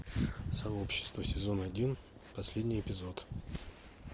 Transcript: сообщество сезон один последний эпизод